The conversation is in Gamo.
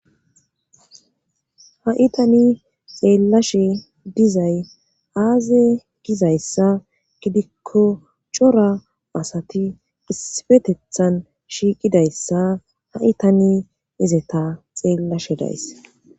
ha7itani xeellashe dizay aaze gizayssa gidikko cora asati isifetethan shiiqidayssa ha7itani izeta xeellashe days